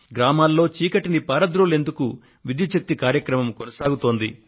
గ్రామాల్లో చీకటిని పారద్రోలేందుకు విద్యుత్్ శక్తి కార్యక్రమం కొనసాగుతోంది